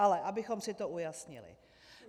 Ale abychom si to ujasnili.